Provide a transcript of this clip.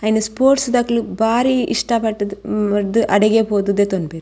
ಆಯಿನ್ sports ದಕುಲು ಬಾರಿ ಇಷ್ಟ ಪಟುದು ಅಡೆಗೆ ಪೋದು ದೆತೊಂವೆರ್.